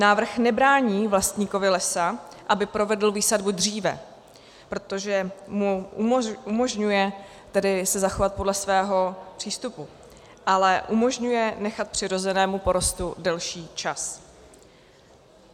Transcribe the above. Návrh nebrání vlastníkovi lesa, aby provedl výsadbu dříve, protože mu umožňuje tedy se zachovat podle svého přístupu, ale umožňuje nechat přirozenému porostu delší čas.